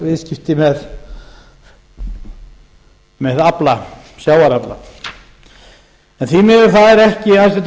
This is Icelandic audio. viðskipti með sjávarafla en því miður þá er ekki hæstvirtur